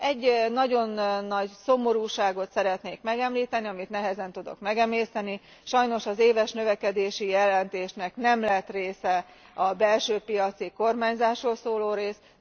Egy nagyon nagy szomorúságot szeretnék megemlíteni, amit nehezen tudok megemészteni, sajnos az éves növekedési jelentésnek nem lett része a belső piaci kormányzásról szóló rész.